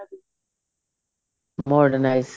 modernize